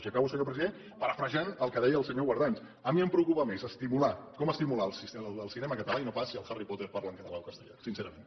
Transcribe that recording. i acabo senyor president parafrasejant el que deia el senyor guardans a mi em preocupa més com estimular el cinema català i no pas si el harry potter parla en català o castellà sincerament